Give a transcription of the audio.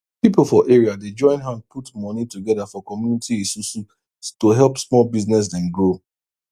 pipo for area dey join hand put money together for community esusu to help small business dem grow